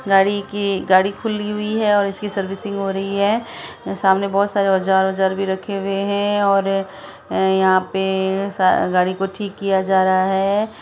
गाड़ी की गाड़ी खुली हुई है और इसकी सर्विसिंग हो रही है सामने बहुत सारे औजार औजार भी रखे हुए है और यहाँ पे गाड़ी को ठीक किया जा रहा है।